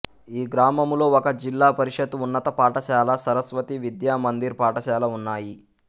ఈ గ్రామములో ఒక జిల్లాపరిషత్ ఉన్నత పాఠశాల సరస్వతి విద్యామందిర్ పాఠశాల ఉన్నాయి